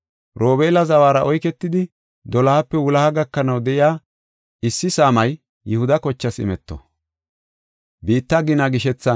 Robeela zawara oyketidi, dolohape wuloha gakanaw de7iya issi saamay Yihuda kochaas imeto.